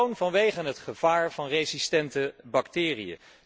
Gewoon vanwege het gevaar van resistente bacteriën.